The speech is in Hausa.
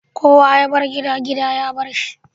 Kowa yabar gida, gida ya barsa.